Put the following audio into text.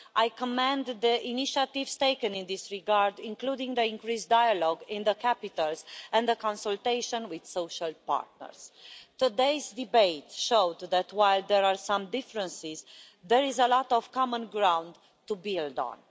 I commend the initiatives taken in this regard, including the increased dialogue in the capitals and the consultation with social partners. Today's debate showed that, while there are some differences, there is a lot of common ground to build on.